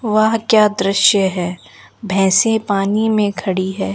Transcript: वाह क्या दृश्य है भैंसे पानी में खड़ी है।